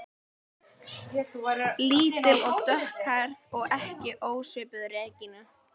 Lítil og dökkhærð og ekki ósvipuð Regínu